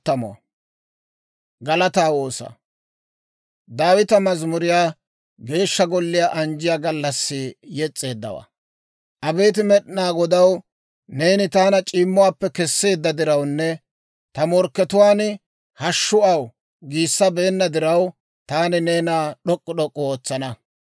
Abeet Med'inaa Godaw, neeni taana c'iimmuwaappe kesseedda dirawunne ta morkkatuwaan, «Hashshu aw» giissabeenna diraw, Taani neena d'ok'k'u d'ok'k'u ootsana.